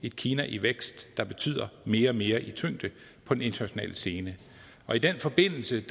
et kina i vækst der betyder mere og mere i tyngde på den internationale scene i den forbindelse